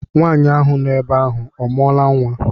Nwaanyị ahụ no ebe ahụ ọ mụọla nnwa?